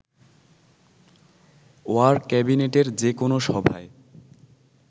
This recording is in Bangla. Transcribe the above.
ওয়ার ক্যাবিনেটের যেকোনো সভায়